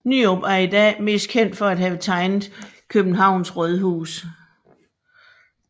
Nyrop er i dag mest kendt for at have tegnet Københavns Rådhus